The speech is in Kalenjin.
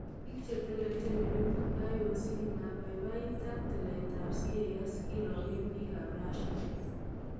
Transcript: Biik chetelejin olimpik IOC "maibabait" ak tileet ab CAS kirooken biik ab Russia